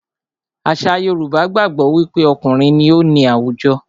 Àṣà Yorùbá gbàgbó wí pé okùnrin ní o ní àwùjọ.